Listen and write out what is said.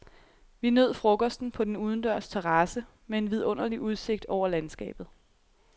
Vi nød frokosten på den udendørs terrasse med en vidunderlig udsigt over landskabet.